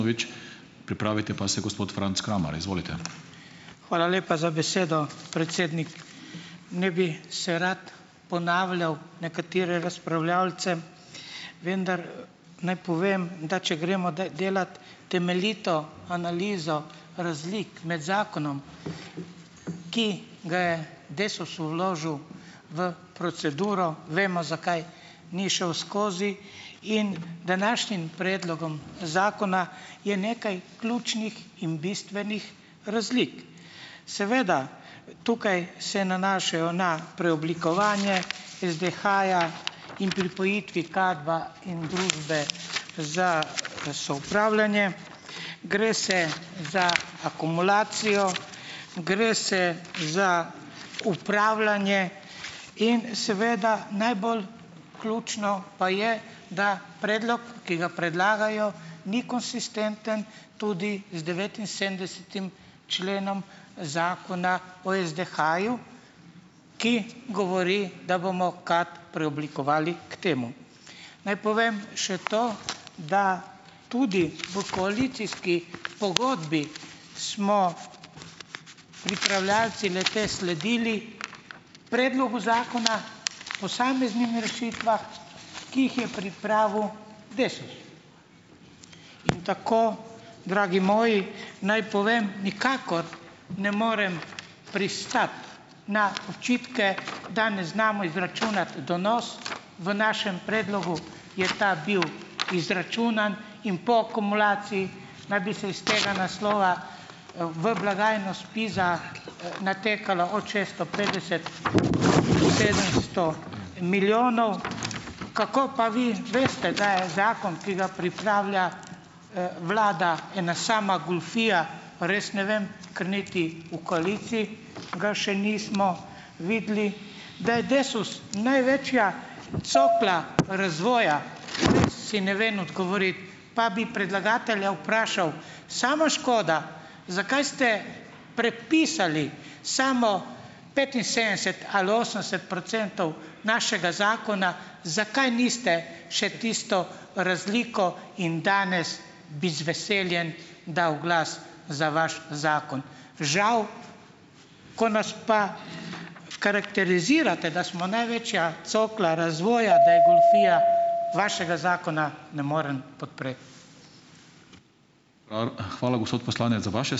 Hvala lepa za besedo, predsednik. Ne bi se rad ponavljal nekatere razpravljavce, vendar naj povem, da če gremo delat temeljito analizo razlik med zakonom, ki ga je Desus vložil v proceduro, vemo, zakaj ni šel skozi, in današnjim predlogom zakona, je nekaj ključnih in bistvenih razlik. Seveda tukaj se nanašajo na preoblikovanje SDH-ja in pripojitvi KAD-a in družbe za soupravljanje. Gre se za akumulacijo, gre se za upravljanje. In seveda najbolj ključno pa je, da predlog, ki ga predlagajo, ni konsistenten tudi z devetinsedemdesetim členom Zakona o SDH-ju, ki govori, da bomo KAD preoblikovali k temu. Naj povem še to, da tudi v koalicijski pogodbi smo pripravljavci le-te sledili predlogu zakona, posameznim rešitvah, ki jih je pripravil Desus. In tako, dragi moji, naj povem, nikakor ne morem pristati na očitke, da ne znamo izračunati donos. V našem predlogu je ta bil izračunan in po akumulaciji, da bi se iz tega naslova v blagajno SPIZ-a, natekalo od šeststo petdeset, sedemsto milijonov. Kako pa vi veste, da je zakon, ki ga pripravlja, vlada, ena sama goljufija, res ne vem, ker niti v koaliciji ga še nismo videli. Da je Desus največja cokla razvoja, res si ne vem odgovoriti. Pa bi predlagatelja vprašal, samo škoda, zakaj ste prepisali samo petinsedemdeset ali osemdeset procentov našega zakona, zakaj niste še tisto razliko in danes bi z veseljem dal glas za vaš zakon. Žal, ko nas pa karakterizirate, da smo največja cokla razvoja da je goljufija, vašega zakona ne morem podpreti.